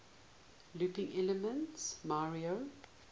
looping elements mario